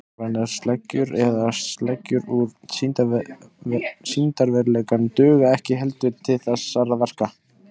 Stafrænar sleggjur eða sleggjur úr sýndarveruleikanum duga ekki heldur til þessara verka.